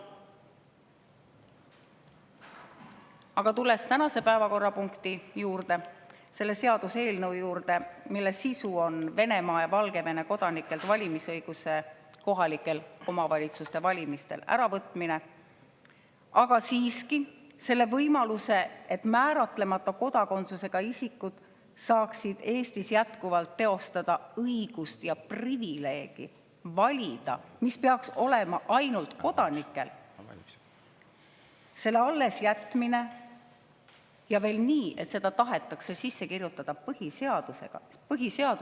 Aga tulen tänase päevakorrapunkti juurde, selle seaduseelnõu juurde, mille sisu on Venemaa ja Valgevene kodanikelt kohaliku omavalitsuse valimistel valimisõiguse äravõtmine, aga selle võimaluse, et määratlemata kodakondsusega isikud saaksid Eestis jätkuvalt teostada õigust ja privileegi valida, mis peaks olema ainult kodanikel, siiski allesjätmine, ja veel nii, et see tahetakse sisse kirjutada põhiseadusesse.